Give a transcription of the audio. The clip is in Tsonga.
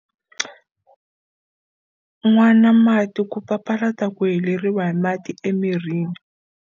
Nwana mati ku papalata ku heleriwa hi mati emirini